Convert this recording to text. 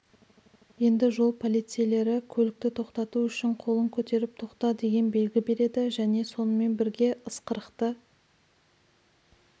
енді жол полицейлері көлікті тоқтату үшін қолын көтеріп тоқта деген белгі береді және сонымен бірге ысқырықты